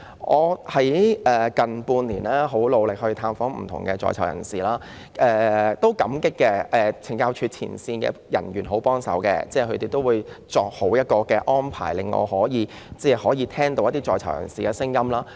近半年我很努力探訪在囚人士，我感激懲教署的前線人員，他們十分願意協助安排，令我可以聽取在囚人士的聲音。